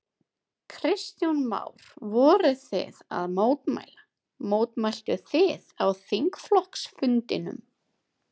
Kristján Már: Voruð þið að mótmæla, mótmæltuð þið á þingflokksfundinum?